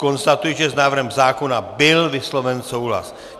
Konstatuji, že s návrhem zákona byl vysloven souhlas.